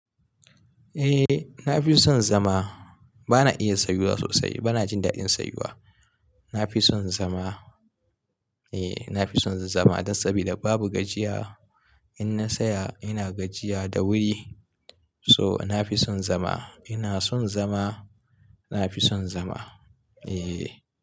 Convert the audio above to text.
Eh na fi son zama. Ba na iya sayuwa sosai, ba na jin daɗin sayuwa. Na fi son zama. Eh na fi son zama dan saboda babu gajiya. In na saya ina gajiya da wuri. So na fi son zama. Ina son zama, na fi son zama. Eh.